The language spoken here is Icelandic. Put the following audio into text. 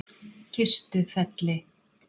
Kistufelli